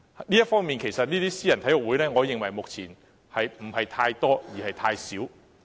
就這方面，其實我認為私人體育會目前不是太多，而是太少。